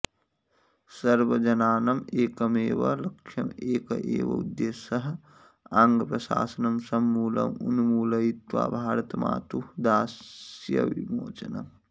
सर्वजनानम् एकमेव लक्ष्यं एक एव उद्देशः आङ्गप्रशासनं समूलम् उन्मूलयित्वा भारतमातुः दास्यविमोचनम्